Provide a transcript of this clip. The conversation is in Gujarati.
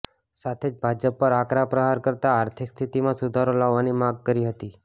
સાથે જ ભાજપ પર આકરા પ્રહાર કરતાં આર્થિક સ્થિતિમાં સુધારો લાવવાની માગ કરી હતી